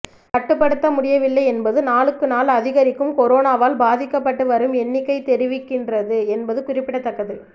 கட்டுப்படுத்த முடியவில்லை என்பது நாளுக்கு நாள் அதிகரிக்கும் கொரோனாவால் பாதிக்கப்பட்டு வரும் எண்ணிக்கை தெரிவிக்கின்றது என்பது குறிப்பிடத்தக்கது